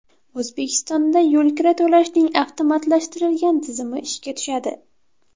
O‘zbekistonda yo‘lkira to‘lashning avtomatlashtirilgan tizimi ishga tushadi.